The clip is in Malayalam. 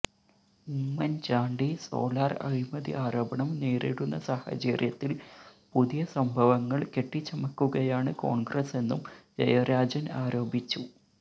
ഉമ്മന് ചാണ്ടി സോളാര് അഴിമതി ആരോപണം നേരിടുന്ന സാഹചര്യത്തില് പുതിയ സംഭവങ്ങള് കെട്ടിച്ചമക്കുകയാണ് കോണ്ഗ്രസെന്നും ജയരാജന് ആരോപിച്ചു